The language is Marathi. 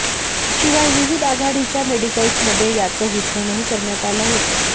शिवाय विविध आघाडीच्या मेडिकल्समध्ये याचं वितरणही करण्यात आलं होतं